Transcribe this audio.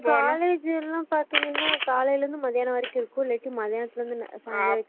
college எல்லாம்பாதிங்கினாகாலைல இருந்து மதியானம் வரைக்கும் இருக்கும்இல்லாட்டி மத்தியானதுலஇருந்து சாங்காலம் வரைக்கு